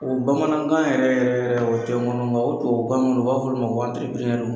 O bamanankan yɛrɛ yɛrɛ yɛrɛ o tɛ ŋɔnɔ nka o tubabukan n u b'a f'ɔlu ma ko